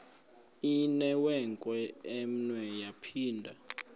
inewenkwe umnwe yaphinda